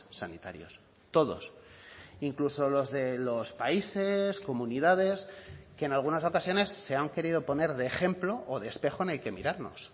sanitarios todos incluso los de los países comunidades que en algunas ocasiones se han querido poner de ejemplo o de espejo en el que mirarnos